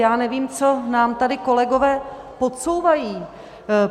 Já nevím, co nám tady kolegové podsouvají.